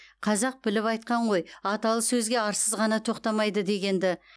қазақ біліп айтқан ғой аталы сөзге арсыз ғана тоқтамайды дегенді